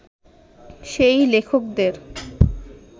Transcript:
সেই লেখকদের